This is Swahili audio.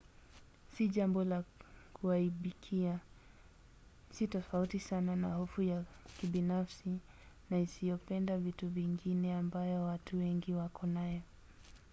si jambo la kuaibikia: si tofauti sana na hofu ya kibinafsi na isiyopenda vitu vingine ambayo watu wengi wako nayo